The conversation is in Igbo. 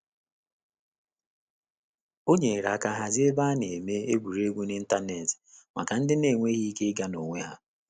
O nyere aka hazie ebe a na-eme egwuregwu n'ịntanetị maka ndị na-enweghị ike ịga n'onwe ha.